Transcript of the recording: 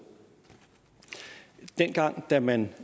dengang da man